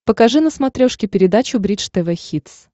покажи на смотрешке передачу бридж тв хитс